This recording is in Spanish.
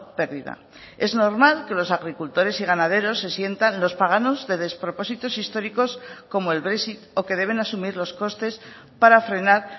perdida es normal que los agricultores y ganaderos se sientan los paganos de despropósitos históricos como el brexit o que deben asumir los costes para frenar